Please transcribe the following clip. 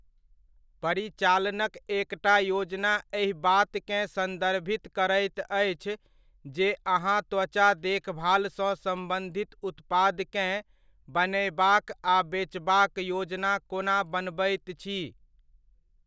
परिचालनक एकटा योजना एहि बातकेँ संदर्भित करैत अछि जे अहाँ त्वचा देखभाल सँ सम्बंधित उत्पादकेँ बनयबाक आ बेचबाक योजना कोना बनबैत छी।